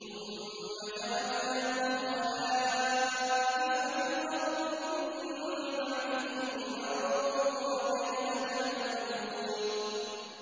ثُمَّ جَعَلْنَاكُمْ خَلَائِفَ فِي الْأَرْضِ مِن بَعْدِهِمْ لِنَنظُرَ كَيْفَ تَعْمَلُونَ